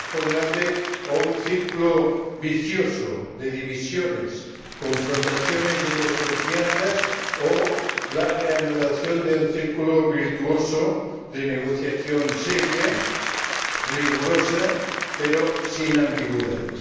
Tenemos por delante o un círculo vicioso de divisiones, confrontaciones y desconfianzas o la reanudación del círculo virtuoso de negociación seria, rigurosa, pero sin ambigüedades.